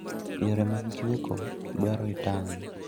Yore mag chweko dwaro itang'